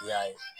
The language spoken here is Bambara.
I y'a ye